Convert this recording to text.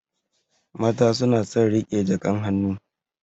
Mata suna son riƙe jakan hannu.